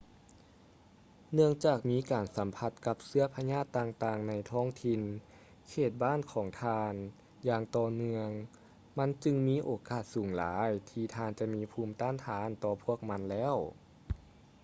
ເນື່ອງຈາກມີການສຳຜັດກັບເຊື້ອພະຍາດຕ່າງໆໃນທ້ອງຖິ່ນເຂດບ້ານຂອງທ່ານຢ່າງຕໍ່ເນື່ຶອງມັນຈຶ່ງມີໂອກາດສູງຫຼາຍທີ່ທ່ານຈະມີພູມຕ້ານທານຕໍ່ພວກມັນແລ້ວ